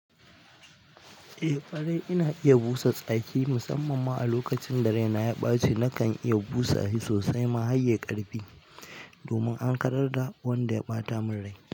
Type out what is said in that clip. Eh ƙare ina iya busa tsaki musamman ma a lokacin da raina ya ɓace nakan iya busa shi sosai mahayye ƙarfi domin an kararra wanda ya ɓata mun rai.